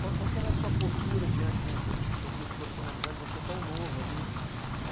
Qual que era a sua postura diante de de um curso profissionalizante, você tão novo ali?